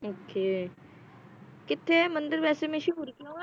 Okay ਕਿਥੇ ਏ ਮੰਦਿਰ ਵੈਸੇ ਮਸ਼ਹੂਰ ਕਿਉਂ ਆ ਹੈ?